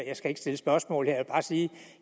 jeg skal ikke stille spørgsmål her bare sige